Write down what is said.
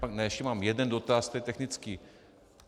Ne, ještě mám jeden dotaz, tedy technický.